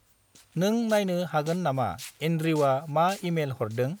नों नायनो हागोन नामा एनड्रिउआ मा इमेल हरदों?